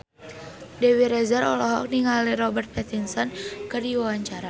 Dewi Rezer olohok ningali Robert Pattinson keur diwawancara